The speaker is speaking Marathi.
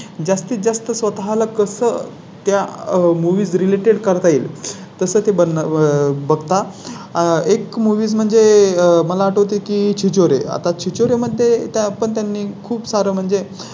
आणि जास्तीत जास्त स्वतः ला कसं त्या Movies related करता येईल तसं ते बघता. आह एक Movies म्हणजे मला आठवते की छिछोरे आता ची चोरी मध्ये त्या पण त्यांनी खूप सार म्हणजे